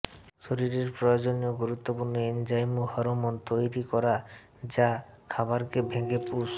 শরীরের প্রয়োজনীয় গুরুত্বপূর্ণ এনজাইম ও হরমোন তৈরি করা যা খাবারকে ভেঙে পুষ